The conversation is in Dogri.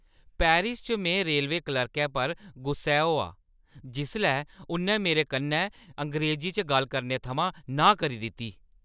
पेरिस च में रेलवे क्लर्कै पर गुस्सै होआ जिसलै उʼन्नै मेरे कन्नै अंग्रेज़ी च गल्ल करने थमां नांह् करी दित्ती।